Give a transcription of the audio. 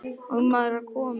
og maður var kominn.